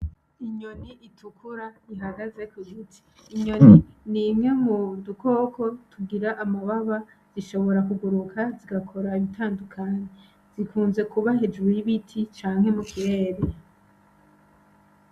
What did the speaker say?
Inyoni itukura ihagaze kugiti, inyoni nimwe mudukoko tugira amababa zishobora kuguruka zigakora ibitandukanye zikunze kuba hejuru yibiti canke mukirere .